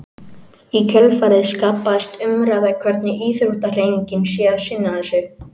Í kjölfarið skapaðist umræða hvernig íþróttahreyfingin sé að sinna þessu.